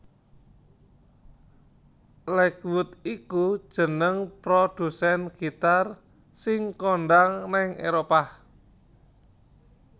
Lakewood iku jeneng produsèn gitar sing kondhang nèng Éropah